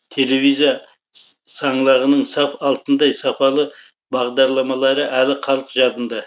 телевизия саңлағының саф алтындай сапалы бағдарламалары әлі халық жадында